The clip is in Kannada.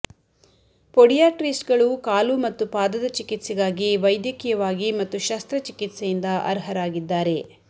ಪೊಡಿಯಾಟ್ರಿಸ್ಟ್ಗಳು ಕಾಲು ಮತ್ತು ಪಾದದ ಚಿಕಿತ್ಸೆಗಾಗಿ ವೈದ್ಯಕೀಯವಾಗಿ ಮತ್ತು ಶಸ್ತ್ರಚಿಕಿತ್ಸೆಯಿಂದ ಅರ್ಹರಾಗಿದ್ದಾರೆ